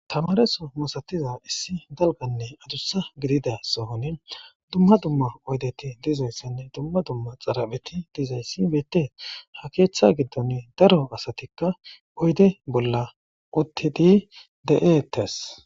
Tamareso mosatiza issi dalganne ajussa gidida sohone dumma dumma oydeti dizayssenne dumma dumma xarapheti dizayssi beettee ha keeththa giddon daro asatikka oyde bolla uttidi de'etes.